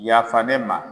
Yafa ne ma